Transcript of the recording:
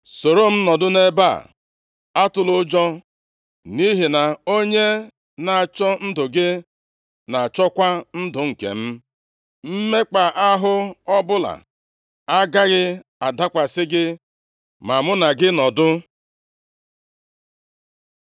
Soro m nọdụ nʼebe a, atụla ụjọ, nʼihi na onye na-achọ ndụ gị na-achọkwa ndụ nke m. Mmekpa ahụ ọbụla agaghị adakwasị gị ma mụ na gị nọdụ.”